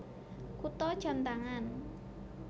Kutha jam tangan